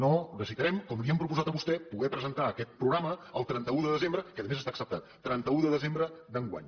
no necessitarem com li hem proposat a vostè poder presentar aquest programa el trenta un de desembre que a més està acceptat d’enguany